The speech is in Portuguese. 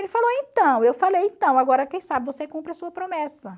Ele falou, então, eu falei, então, agora quem sabe você cumpre a sua promessa